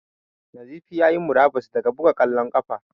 Nazifi ya yi murabus daga buga ƙwallon ƙafa.